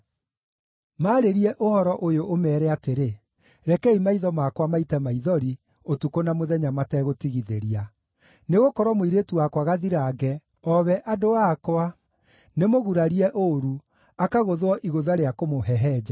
“Maarĩrie ũhoro ũyũ, ũmeere atĩrĩ: “ ‘Rekei maitho makwa maite maithori ũtukũ na mũthenya mategũtigithĩria; nĩgũkorwo mũirĩtu wakwa gathirange, o acio andũ akwa, nĩmũgurarie ũũru, akagũthwo igũtha rĩa kũmũhehenja.